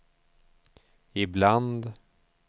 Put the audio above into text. ibland